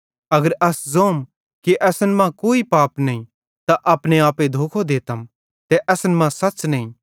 अगर अस ज़ोम कि असन मां कोई पाप नईं त अपने आपे धोखो देतम ते असन मां सच़्च़े नईं